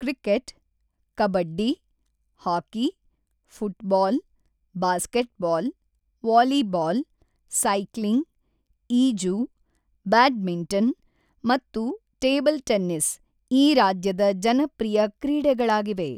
Cricket, kabaddi, hockey, football, basketball, volleyball, cycling, ಈಜು, badminton ಮತ್ತು table tennis ಈ ರಾಜ್ಯದ ಜನಪ್ರಿಯ ಕ್ರೀಡೆಗಳಾಗಿವೆ.